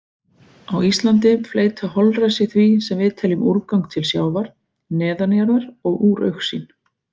Á Íslandi fleyta holræsi því sem við teljum úrgang til sjávar, neðanjarðar og úr augsýn.